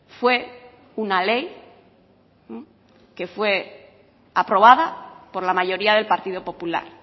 fue una ley que fue aprobada por la mayoría del partido popular